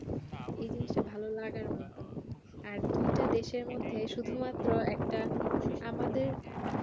এই জিনিসটা ভালো লাগার মতন আর দুইটা দেশের মধ্যে শুধু মাত্র একটা আমাদের